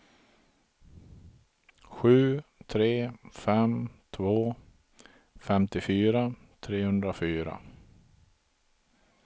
sju tre fem två femtiofyra trehundrafyra